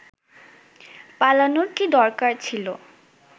পালানোর কী দরকার ছিল